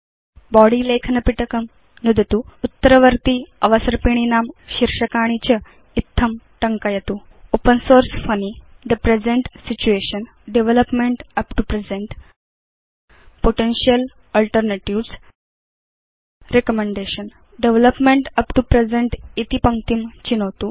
body लेखनपिटकं नुदतु उत्तरवर्ति अवसर्पिणीनां शीर्षकाणि च इत्थं टङ्कयतु ओपेन सोर्स funnyथे present situation development up to presentपोटेन्शियल alternatives recommendation development up to present इति पङ्क्तिं चिनोतु